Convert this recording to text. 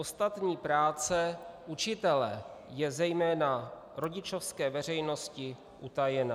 Ostatní práce učitele je zejména rodičovské veřejnosti utajena.